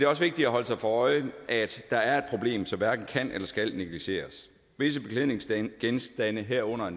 også vigtigt at holde sig for øje at der er et problem som hverken kan eller skal negligeres visse beklædningsgenstande herunder